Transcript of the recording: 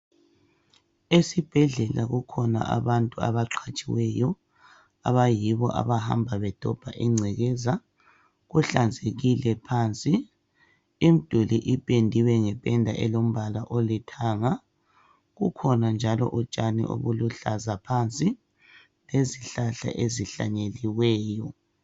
Ezibhedlela kukhona abantu abaqhatshiweyo abayibo abahamba bedobha ingcekeza . Kuhlanzekile phansi .Imduli ipendiwe ngependa elombala olithanga ..Kukhona njalo utshani obuluhlaza phansi lezihlahla ezihlanyeliweyo.